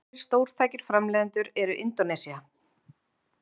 aðrir stórtækir framleiðendur eru indónesía